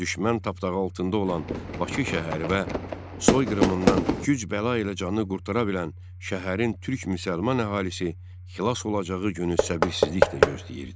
Düşmən tapdağı altında olan Bakı şəhəri və soyqırımından güc-bəla ilə canı qurtara bilən şəhərin türk-müsəlman əhalisi xilas olacağı günü səbirsizliklə gözləyirdi.